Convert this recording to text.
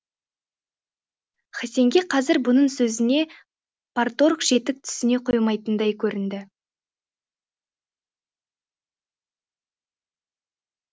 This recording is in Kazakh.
хасенге қазір бұның сөзіне парторг жетік түсіне қоймайтындай көрінді